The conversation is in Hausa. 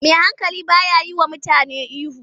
Mai hankali ba ya yiwa mutane ihu.